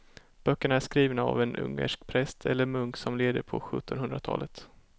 Böckerna är skrivna av en ungersk präst eller munk som levde på sjuttonhundratalet.